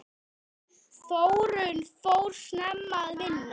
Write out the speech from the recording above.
Þórunn fór snemma að vinna.